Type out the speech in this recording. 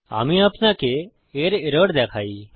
আমি আপনাকে এর এরর দেখাই